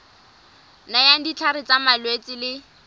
nayang ditlhare tsa malwetse le